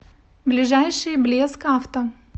ближайший блеск авто